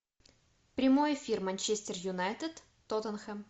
прямой эфир манчестер юнайтед тоттенхэм